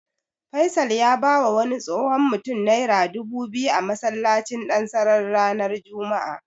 Faisal ya bawa wani tsohon mutum Naira dubu biyu a masallacin Dansarari ranar Juma'a.